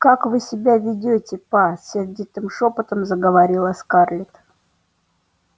как вы себя ведёте па сердитым шёпотом заговорила скарлетт